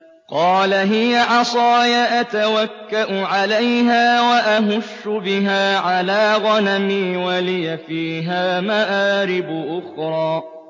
قَالَ هِيَ عَصَايَ أَتَوَكَّأُ عَلَيْهَا وَأَهُشُّ بِهَا عَلَىٰ غَنَمِي وَلِيَ فِيهَا مَآرِبُ أُخْرَىٰ